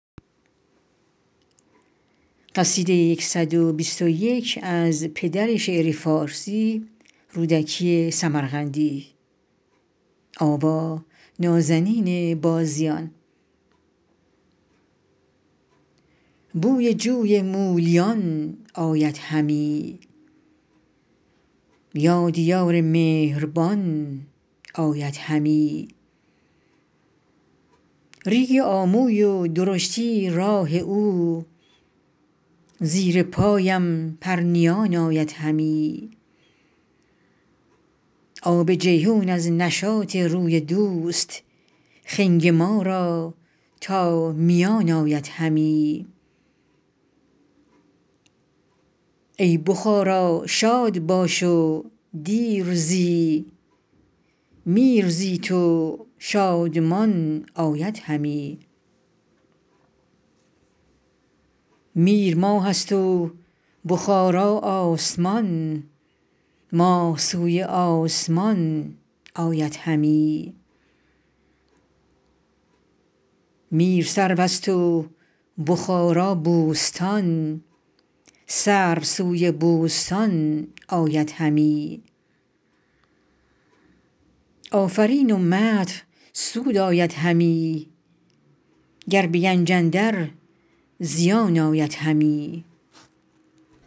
بوی جوی مولیان آید همی یاد یار مهربان آید همی ریگ آموی و درشتی های او زیر پایم پرنیان آید همی آب جیحون از نشاط روی دوست خنگ ما را تا میان آید همی ای بخارا شاد باش و دیر زی میر زی تو شادمان آید همی میر ماه است و بخارا آسمان ماه سوی آسمان آید همی میر سرو است و بخارا بوستان سرو سوی بوستان آید همی آفرین و مدح سود آید همی گر به گنج اندر زیان آید همی